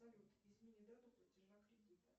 салют измени дату платежа кредита